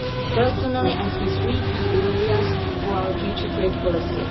Personally, I see three key areas for our future trade policy.